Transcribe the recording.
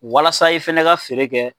Walasa i fɛnɛ ka feere kɛ.